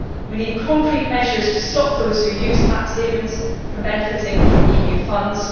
we need concrete measures to stop those who use tax havens benefiting from EU funds